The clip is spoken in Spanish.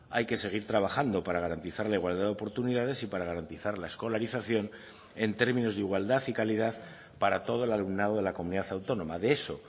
hay que seguir trabajando para garantizar la igualdad de oportunidades y para garantizar la escolarización en términos de igualdad y calidad para todo el alumnado de la comunidad autónoma de eso